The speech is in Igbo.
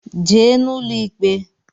Jee n’ụlọ ikpe!